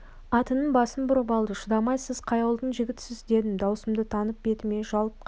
атының басын бұрып алды шыдамай сіз қай ауылдың жігітісіз дедім даусымды танып бетіме жалт қарады